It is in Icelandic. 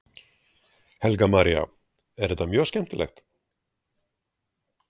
Helga María: Er þetta mjög skemmtileg?